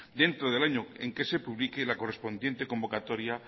dentro del año en que se publique la correspondiente convocatoria